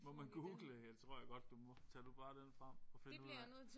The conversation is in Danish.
Må man google det tror jeg godt du må. Tag du bare den frem og find ud af